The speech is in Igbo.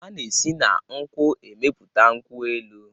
Ana esi na nkwu emepụta nkwu elu.